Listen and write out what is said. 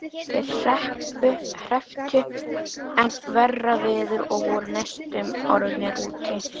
Þeir hrepptu enn verra veður og voru næstum orðnir úti.